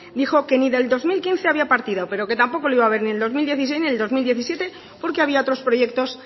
dijo que ni del dos mil quince había partida pero que tampoco la iba a haber ni en el dos mil dieciséis ni en el dos mil diecisiete porque había otros proyectos